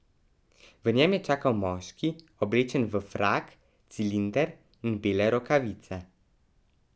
V njem je čakal moški, oblečen v frak, cilinder in bele rokavice.